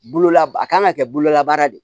Bololab a kan ka kɛ bololabaara de ye